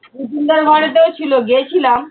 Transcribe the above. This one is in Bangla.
দার ঘরেতেও ছিল, গেছিলাম